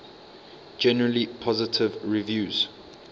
generally positive reviews